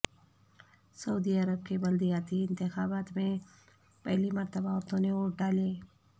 سعودی عرب کے بلدیاتی انتخابات میں پہلی مرتبہ عورتوں نے ووٹ ڈالے